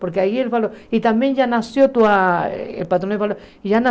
Porque aí ele falou, e também já nasceu tua falou já